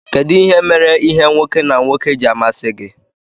kedu ihe mere ìhè nwoke na nwoke ji amasi gi?